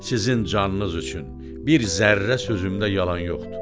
Sizin canınız üçün bir zərrə sözümdə yalan yoxdur.